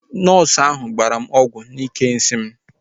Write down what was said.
Nọọsu ahu gbara m ọgwụ n'ike nsị m